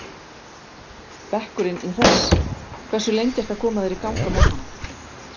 Bekkurinn í Hress Hversu lengi ertu að koma þér í gang á morgnanna?